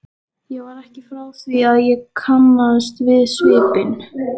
Ég var ekki frá því að ég kannaðist við svipinn.